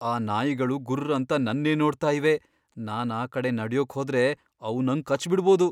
ಆ ನಾಯಿಗಳು ಗುರ್ರ್ ಅಂತ ನನ್ನೇ ನೋಡ್ತಾ ಇವೆ. ನಾನ್ ಆ ಕಡೆ ನಡ್ಯೋಕ್ ಹೋದ್ರೆ ಅವು ನಂಗ್ ಕಚ್ಚ್ಬಿಡ್ಬೋದು.